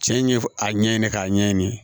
Cɛ in ye a ɲɛ ɲini k'a ɲɛɲini